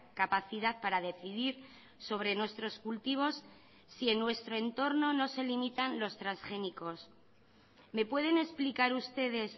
capacidad para decidir sobre nuestros cultivos si en nuestro entorno no se limitan los transgénicos me pueden explicar ustedes